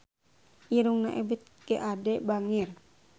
Irungna Ebith G. Ade bangir